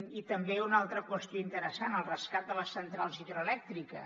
i també una altra qüestió interessant el rescat de les centrals hidroelèctriques